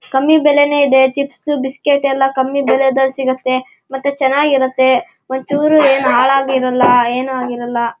ಕಮ್ಮಿ ಬೆಲೆನೇ ಇದೆ. ಚಿಪ್ಸ್ ಬಿಸ್ಕೆಟ್ ಎಲ್ಲ ಕಮ್ಮಿ ಬೇಲೆಡ್ ಸಿಗುತ್ತೆ ಮತ್ತೆ ಚೆನ್ನಾಗಿರುತ್ತೆ. ಒಂಚೂರು ಏನ್ ಹಾಳಾಗಿರಲ್ಲ ಏನು ಆಗಿರಲ್ಲ.